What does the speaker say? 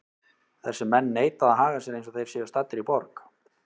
Þessir menn neita að haga sér eins og þeir séu staddir í borg.